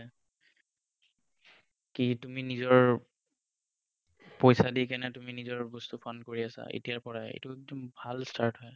কি তুমি নিজৰ পইছা দি পিনে নিজৰ বস্তু fund কৰি আছা এতিয়াৰ পৰাই এইটো এটা ভাল start হয়।